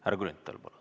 Härra Grünthal, palun!